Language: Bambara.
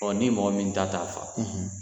ni mɔgɔ min ta t'a fa